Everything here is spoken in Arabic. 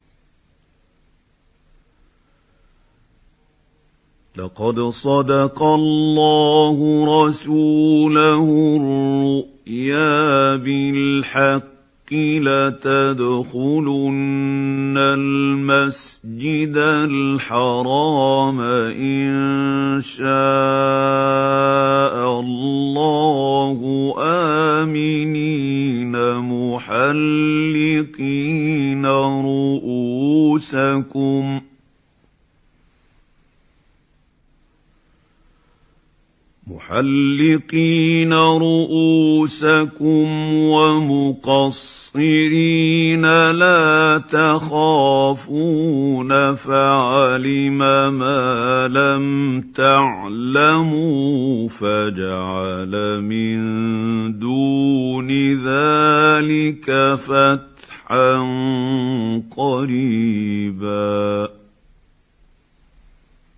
لَّقَدْ صَدَقَ اللَّهُ رَسُولَهُ الرُّؤْيَا بِالْحَقِّ ۖ لَتَدْخُلُنَّ الْمَسْجِدَ الْحَرَامَ إِن شَاءَ اللَّهُ آمِنِينَ مُحَلِّقِينَ رُءُوسَكُمْ وَمُقَصِّرِينَ لَا تَخَافُونَ ۖ فَعَلِمَ مَا لَمْ تَعْلَمُوا فَجَعَلَ مِن دُونِ ذَٰلِكَ فَتْحًا قَرِيبًا